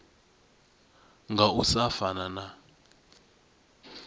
nga u sa fana na